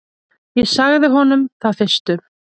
Ég sagði honum það fyrstum.